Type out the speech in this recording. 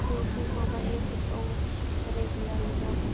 Þú. þú. mamma. heyrðist ógreinilega í honum.